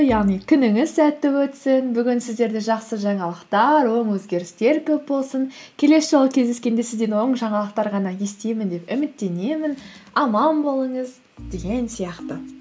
яғни күніңіз сәтті өтсін бүгін сіздерде жақсы жаңалықтар оң өзгерістер көп болсын келесі жолы кездескенде сізден оң жаңалықтар ғана естимін деп үміттенемін аман болыңыз деген сияқты